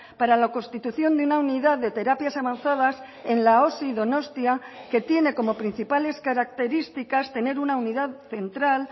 para la constitución de una unidad de terapias avanzadas en la osi donostia que tiene como principales características tener una unidad central